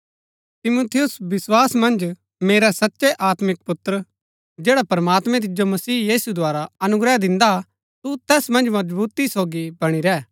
तिमुथियुस विस्वास मन्ज मेरै सचै आत्मिक पुत्र जैड़ा प्रमात्मां तिजो मसीह यीशु द्धारा अनुग्रह दिन्दा तू तैस मन्ज मजबुती सोगी बणी रैह